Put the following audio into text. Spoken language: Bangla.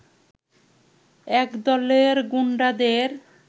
একদলের গুন্ডাদের